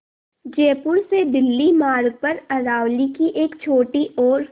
जयपुर से दिल्ली मार्ग पर अरावली की एक छोटी और